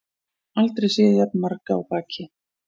Aldrei séð jafn marga á baki